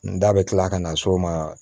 N da bɛ tila ka na s'o ma